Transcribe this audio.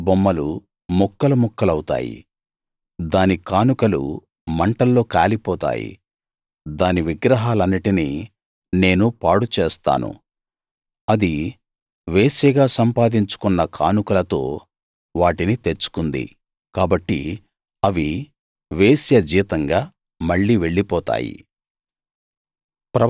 దాని చెక్కుడు బొమ్మలు ముక్కలు ముక్కలవుతాయి దాని కానుకలు మంటల్లో కాలిపోతాయి దాని విగ్రహాలన్నిటినీ నేను పాడు చేస్తాను అది వేశ్యగా సంపాదించుకున్న కానుకలతో వాటిని తెచ్చుకుంది కాబట్టి అవి వేశ్య జీతంగా మళ్ళీ వెళ్ళిపోతాయి